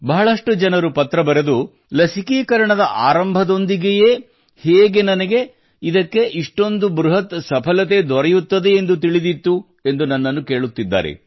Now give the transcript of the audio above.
ಬಹಳಷ್ಟು ಜನರು ಪತ್ರ ಬರೆದು ಲಸಿಕೀಕರಣದ ಆರಂಭದೊಂದಿಗೆಯೇ ಹೇಗೆ ನನಗೆ ಇದಕ್ಕೆ ಇಷ್ಟೊಂದು ಬೃಹತ್ ಸಫಲತೆ ದೊರೆಯುತ್ತದೆ ಎಂದು ತಿಳಿದಿತ್ತು ಎಂದು ನನ್ನನ್ನು ಕೇಳುತ್ತಿದ್ದಾರೆ